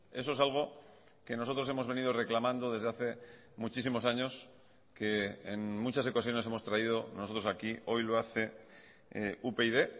eso es algo que nosotros hemos venido reclamando desde hace muchísimos años que en muchas ocasiones hemos traído nosotros aquí hoy lo hace upyd